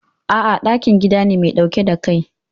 A'a, ɗakin gida ne mai ɗauke da Kai.